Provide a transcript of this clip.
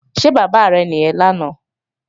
Ṣé bàbá rẹ̀ nìyẹn lánàá?